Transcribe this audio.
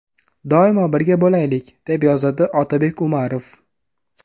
Doimo birga bo‘laylik!”, deb yozadi Otabek Umarov.